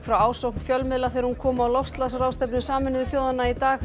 frá ásókn fjölmiðla þegar hún kom á loftslagsráðstefnu Sameinuðu þjóðanna í dag